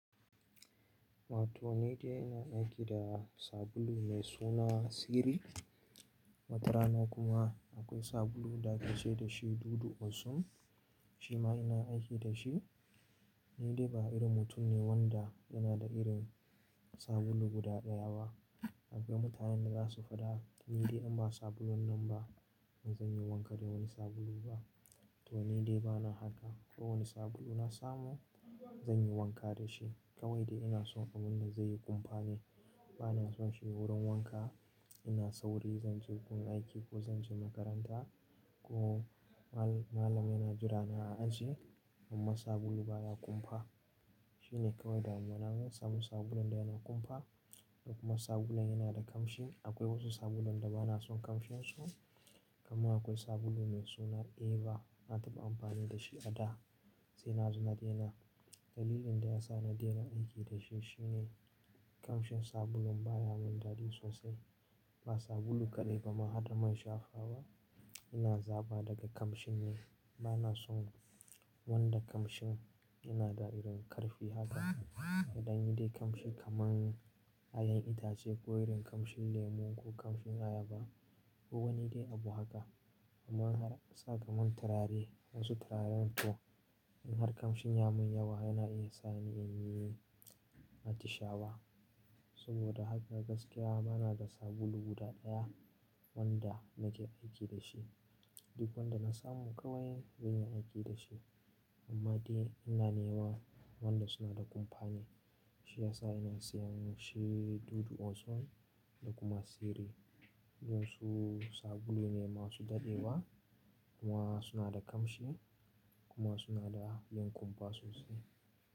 Wato ni dai ina aiki da sabulu mai suna Siri. Wata rana kuma akwai sabulu da ake ce da shi Dudu Osun, shi ma ina aiki da shi. Ni dai ba irin mutum ne wanda yana da irin sabulu guda ɗaya ba. Akwai mutanen da za su faɗa, "Ni dai in ba sabulun nan ba, ba zan yi wanka da wani sabulu ba." To ni dai bana haka. Ko wani sabulu na samu, zan yi wanka da shi. Kawai dai ina son abun da zai yi kumfa ne. Bana son shi wurin wanka ina sauri zan je wurin aiki ko zan je makaranta ko mal-malam yana jira ni a aji, amma sabulu baya kumfa. Shi ne kawai damuwa na. Na samu sabulun da yana kumfa da kuma sabulun yana da kamshi. Akwai wasu sabulun da bana son kamshinsu. Kuma akwai sabulu mai suna Eva na taɓa amfani da shi a da sai na zo na daina. Dalilin da ya sa na daina aiki da shi shi ne kamshin sabulun baya mun dadi sosai. Ba sabulu kaɗai ba mahadar main shafawa ba. Ina zaba daga kamshi ne. Bana son wanda kamshin yana da irin ƙarfi haka. Idan yi dai kamshi kamar yin ayan itace, ko irin kamshin lemu ko kamshin ayaba ko wani dai abu haka. Kuma yana sa ka mun turare wasu turaren to in har kamshin ya mun yawa yana iya sa ni in yi matisha ba. Saboda haka gaskiya bana da sabulu guda ɗaya wanda nake aiki da shi. Duk wanda na samu kawai zan iya aiki da shi. Amma dai ina neman wanda suna da kumfa ne. Shi ya sa ina sayan shi Dudu Osum da kuma Siri. Duk su sabulu ne masu daɗewa kuma suna da kamshi kuma suna da yin kumfa sosai.